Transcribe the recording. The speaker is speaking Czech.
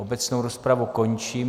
Obecnou rozpravu končím.